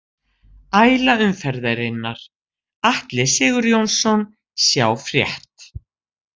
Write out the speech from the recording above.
Æla umferðarinnar: Atli Sigurjónsson Sjá frétt